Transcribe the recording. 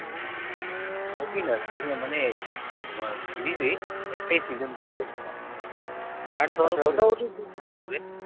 movie নয় season মানেএ তোমার series হি একটাই, season বের হয়ছে মাত্র